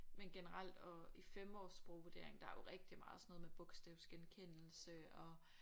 Men generelt og i 5-års sprogvurdering der er jo rigtig meget sådan noget med bogstavsgenkendelse og